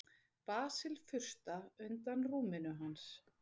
Já, við spilum mikið saman.